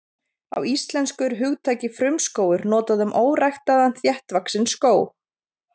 Á íslensku er hugtakið frumskógur notað um óræktaðan þéttvaxinn skóg.